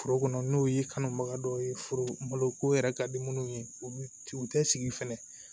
Foro kɔnɔ n'o ye kanubaga dɔ ye foro malo ko yɛrɛ ka di minnu ye u bɛ ci u tɛ sigi fɛnɛ